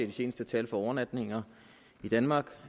de seneste tal for overnatninger i danmarks